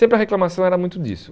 Sempre a reclamação era muito disso.